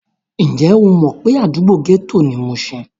Ǹjẹ́ o mọ̀ pé àdúgbò gẹ́tò ni mushin?